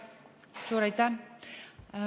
Suur aitäh!